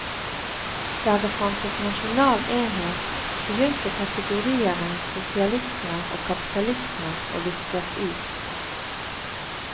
Der det fantes nasjonal enhet, begynte kategoriene sosialisme og kapitalisme å viskes ut.